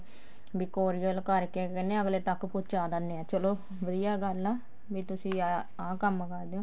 ਵੀ courier ਕਰਕੇ ਕਹਿਨੇ ਆ ਅੱਗਲੇ ਤੱਕ ਪਹੁੰਚਾ ਦਿੰਦੇ ਆ ਚਲੋ ਵਧੀਆ ਗੱਲ ਆ ਵੀ ਤੁਸੀਂ ਆਹ ਇਹ ਕੰਮ ਕਰਦੇ ਹੋ